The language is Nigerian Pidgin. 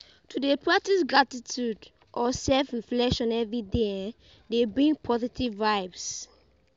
To de practice gratitude or self reflection everyday um de bring positive vibes